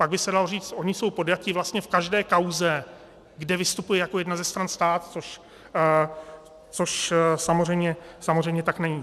Pak by se dalo říci, že jsou podjatí vlastně v každé kauze, kde vystupuje jako jedna ze stran stát, což samozřejmě tak není.